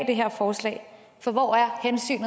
det her forslag for hvor er hensynet